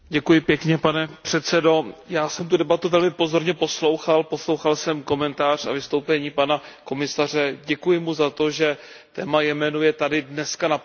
Pane předsedající, já jsem tu debatu velmi pozorně poslouchal, poslouchal jsem komentář a vystoupení pana komisaře. Děkuji mu za to, že téma uvádí tady dnes na plénu.